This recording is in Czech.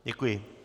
Děkuji.